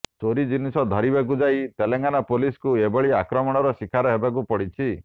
ଚୋରି ଜିନିଷ ଧରିବାକୁ ଯାଇ ତେଲେଙ୍ଗାନା ପୋଲିସକୁ ଏଭଳି ଆକ୍ରମଣର ଶିକାର ହେବାକୁ ପଡ଼ିଛି